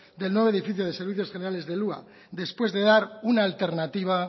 del nuevo edificio de servicios generales del hua después de dar una alternativa